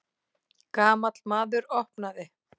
Gamall maður opnaði.